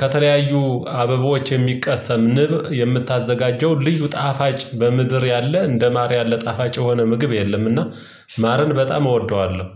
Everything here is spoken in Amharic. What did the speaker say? ከተለያዩ አበባዎች የሚቀሰም ንብ የምታዘጋጀው ልዩ ጣፋጭ በምድር ያለ እንደ ማር ያለ ጣፋጭ የሆነ ምግብ የለምና ማረን በጣም እወደዋለሁ